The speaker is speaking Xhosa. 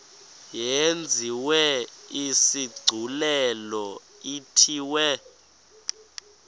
yenziwe isigculelo ithiwe